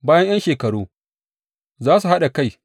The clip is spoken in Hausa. Bayan ’yan shekaru, za su haɗa kai.